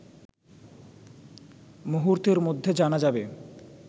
মুহূর্তের মধ্যে জানা যাবে